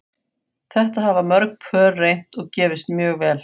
Þetta hafa mörg pör reynt og gefist mjög vel.